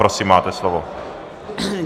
Prosím, máte slovo.